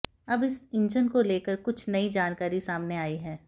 अब इस इंजन को लेकर कुछ नई जानकारी सामने आई है